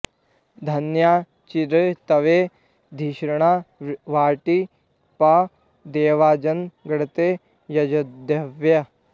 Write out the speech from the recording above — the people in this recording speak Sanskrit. धन्या॑ चि॒द्धि त्वे धि॒षणा॒ वष्टि॒ प्र दे॒वाञ्जन्म॑ गृण॒ते यज॑ध्यै